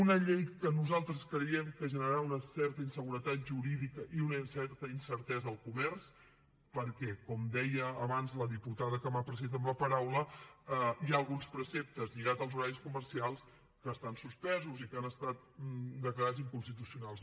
una llei que nosaltres creiem que generarà una certa inseguretat jurídica i una certa incertesa al comerç perquè com deia abans la diputada que m’ha precedit en la paraula hi ha alguns preceptes lligats als horaris comercials que estan suspesos i que han estat declarats inconstitucionals